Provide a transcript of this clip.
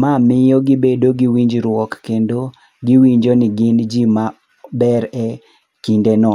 Ma miyo gibedo gi winjruok kendo giwinjo ni gin ji maber e kindeno.